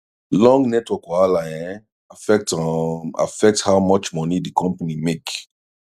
long network wahala um affect um affect how much money di company make